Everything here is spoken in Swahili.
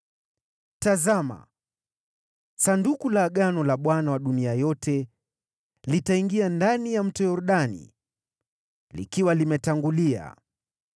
Tazameni, Sanduku la Agano la Bwana wa dunia yote litaingia ndani ya Mto Yordani likiwa limewatangulia.